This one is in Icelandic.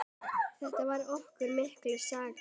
Þetta var okkur mikill sigur.